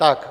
Tak.